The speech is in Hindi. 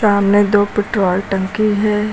सामने दो पेट्रोल टंकी है।